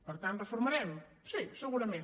per tant reformarem sí segurament